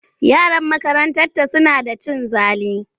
Yaran makarantarta suna da cin zali.